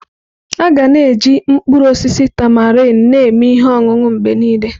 Aga na-eji mkpụrụ osisi tamarind na-eme ihe ọṅụṅụ mgbe niile.